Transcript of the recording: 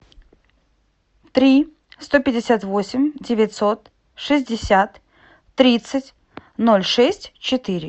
три сто пятьдесят восемь девятьсот шестьдесят тридцать ноль шесть четыре